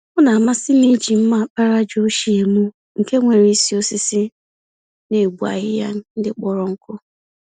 Ọ namasịm iji mma àkpàràjà ochie mụ, nke nwéré isi osisi, n'egbu ahịhịa ndị kpọrọ nkụ